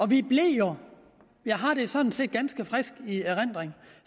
vi blev jo jeg har det sådan set i ganske frisk erindring